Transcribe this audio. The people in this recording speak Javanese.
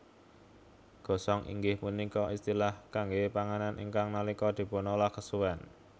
Gosong inggih punika istilah kangge panganan ingkang nalika dipunolah kesuwen